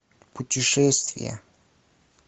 путешествия